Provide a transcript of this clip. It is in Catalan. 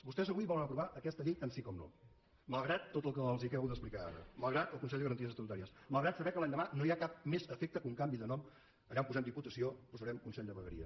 vostès avui volen aprovar aquesta llei tant sí com no malgrat tot el que els acabo d’explicar ara malgrat el consell de garanties estatutàries malgrat saber que l’endemà no hi ha cap més efecte que un canvi de nom allà on posem diputació posarem consell de vegueria